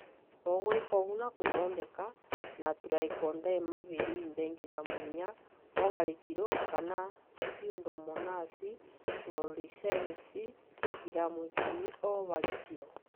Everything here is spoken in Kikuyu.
Ũgwika ũguo na gũthondeka na Trichoderma viride giramu inya o harĩ kilo kana Pseudomonasi flourescens giramu ikũmi o harĩ kilo